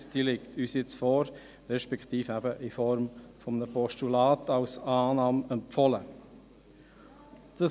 Diese liegt uns nun vor, respektive ein zur Annahme empfohlenes Postulat.